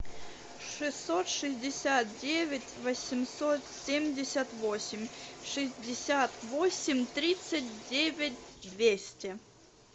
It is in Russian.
шестьсот шестьдесят девять восемьсот семьдесят восемь шестьдесят восемь тридцать девять двести